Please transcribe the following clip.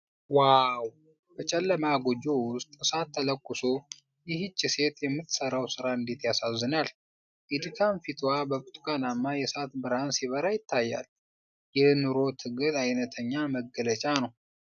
ዋው! በጨለማ ጎጆ ውስጥ እሳት ተለኩሶ ይኸች ሴት የምትሰራው ስራ እንዴት ያሳዝናል! የድካም ፊትዋ በብርቱካናማ የእሳት ብርሃን ሲበራ ይታያል፤ የኑሮ ትግል አይነተኛ መገለጫ ነው!